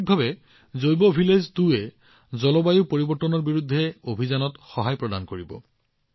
সামগ্ৰিকভাৱে জৈৱগাঁও ২য়ে জলবায়ু পৰিৱৰ্তনৰ বিৰুদ্ধে অভিযানত যথেষ্ট শক্তি প্ৰদান কৰিব